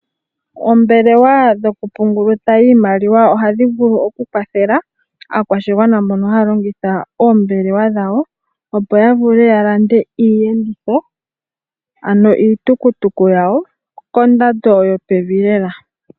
Oombelewa dhokupungulitha iiimaliwa ohadhi vulu okukwathela aakwashigwana mbono haya longitha oombelewa dhawo opo yavule yalande iiyenditho ano iitukutuku yawo kondando yopevi lela.